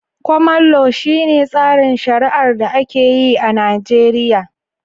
Koman lo, shi ne tsarin shari'ar da ake yi a Najeriya